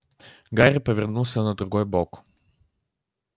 гарри повернулся на другой бок